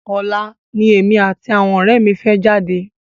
Ọ̀la ni èmi àti àwọn ọ̀rẹ́ mi fẹ́ jáde.